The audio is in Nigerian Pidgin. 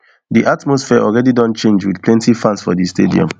di atmosphere alreadi don charge wit plenty fans for di stadium